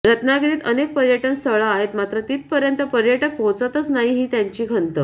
रत्नागिरीत अनेक पर्यटन स्थळं आहेत मात्र तिथंपर्यत पर्यटक पोहोचतच नाहीत ही त्यांची खंत